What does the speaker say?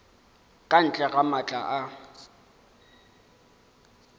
ka ntle ga maatla a